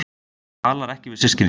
Talar ekki við systkini sín